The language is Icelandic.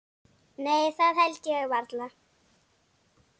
Nei það held ég varla.